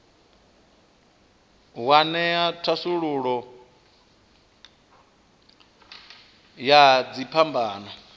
wa ṅea thasululo ya dziphambano